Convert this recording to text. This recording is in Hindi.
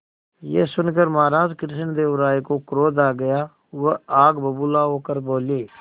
यह सुनकर महाराज कृष्णदेव राय को क्रोध आ गया वह आग बबूला होकर बोले